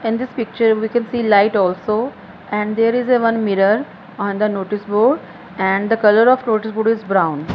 in this picture we can see light also and there is a one mirror on the notice board and the colour of notice board is brown.